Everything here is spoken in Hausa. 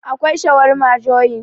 akwai shawarma joyin